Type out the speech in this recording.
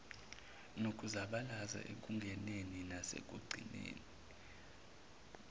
nokuzabalaza ekungeneni nasekucingeni